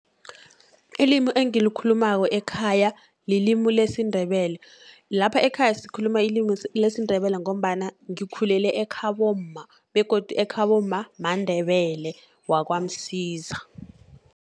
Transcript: Ilimi engilikhumako ekhaya, lilimu lesiNdebele. Lapha ekhaya sikhuluma ilimi lesiNdebele, ngombana ngikhulele ekhabomma, begodu ekhabomma maNdebele wakwaMsiza.